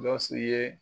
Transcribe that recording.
Gawusu ye